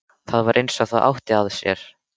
Það var eins og það átti að sér.